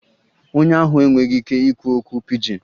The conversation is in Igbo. Onye ahụ enweghị ike ikwu okwu pidgin